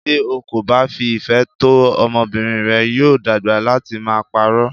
Tí o kò bá fi ìfẹ́ tọ́ ọmọbìnrin rẹ, yóò dàgbà láti máa pa'rọ́.